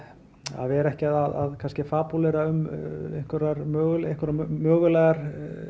vera ekki að fabúlera um mögulegar mögulegar